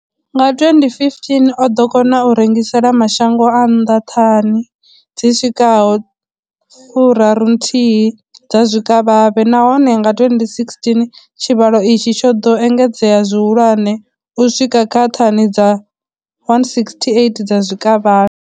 Nga 2015, o ḓo kona u rengisela mashango a nnḓa thani dzi swikaho 31 dza zwikavhavhe, nahone nga 2016 tshivhalo itshi tsho ḓo engedzea zwihulwane u swika kha thani dza 168 dza zwikavhavhe.